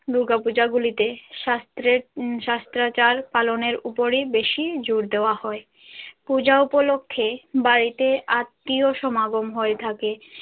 দূর্গা পূজা গুলিতে শাস্ত্রের শাস্ত্রাচার পালনের উপরই বেশি জোড় দেওয়া হয় পূজা উপলক্ষে বাড়িতে আত্মীয় সমাগম হয়ে থাকে।